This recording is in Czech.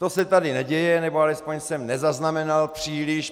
To se tady neděje, nebo alespoň jsem nezaznamenal příliš.